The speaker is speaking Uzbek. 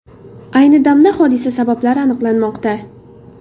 Ayni damda hodisa sabablari aniqlanmoqda.